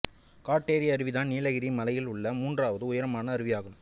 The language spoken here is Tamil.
காட்டேரி அருவிதான் நீலகிரி மலையில் உள்ள மூன்றாவது உயரமான அருவியாகும்